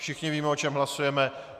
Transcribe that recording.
Všichni víme, o čem hlasujeme.